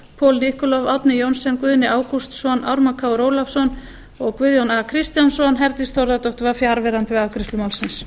paul nikolov árni johnsen guðni ágústsson ármann krónu ólafsson og guðjón a kristjánsson herdís þórðardóttir var fjarverandi við afgreiðslu málsins